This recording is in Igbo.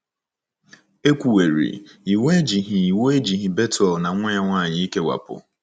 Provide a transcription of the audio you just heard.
E kwuwerị, iwu ejighị iwu ejighị Bethuel na nwa ya nwanyị ikewapụ.